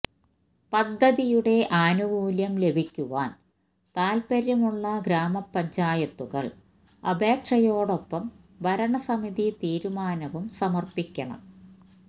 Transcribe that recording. പദ്ധതിയുടെ ആനുകൂല്യം ലഭിക്കുവാൻ താൽപര്യമുള്ള ഗ്രാമപഞ്ചായത്തുകൾ അപേക്ഷയോടൊപ്പം ഭരണസമിതി തീരുമാനവും സമർപ്പിക്കണം